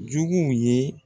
Juguw ye